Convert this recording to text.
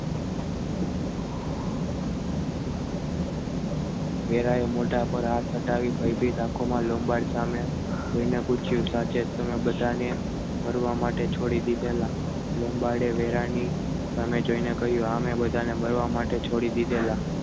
ફેલાઈ મોઢા પર હાથ હટાવી ભયભીત આંખોમાં લંબગાડ સામે જોઈને પૂછ્યું સાચે જ તમે બધાને મરવા માટે છોડી દીધેલા લોંબાડે વેરાની સામે જોઈને કહ્યું સામે બધાને મળવા માટે છોડી દીધેલા.